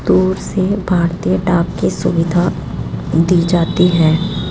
दूर से भारतीय डाक की सुविधा दी जाती है।